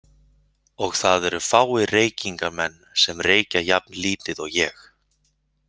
Og það eru fáir reykingamenn sem reykja jafn lítið og ég.